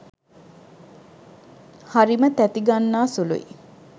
හරිම තැති ගන්නා සුළුයි.